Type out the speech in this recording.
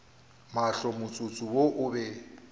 mahlo motsotso wo o be